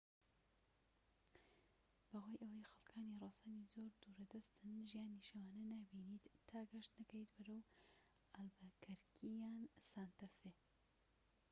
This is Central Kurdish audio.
بەهۆی ئەوەی خەلکانی ڕەسەن زۆر دوورە دەستن ژیانی شەوانە نابینیت تا گەشت نەکەیت بەرەو ئالبەکەرکی یان سانتە فێ